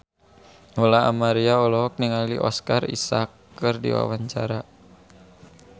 Lola Amaria olohok ningali Oscar Isaac keur diwawancara